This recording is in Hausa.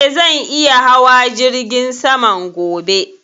Eh, zan iya hawa jirgin saman gobe